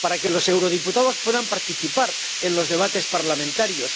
para que los eurodiputados puedan participar en los debates parlamentarios